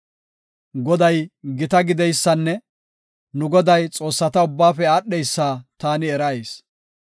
Goday gita gideysanne nu Goday, xoossata ubbaafe aadheysa taani erayis.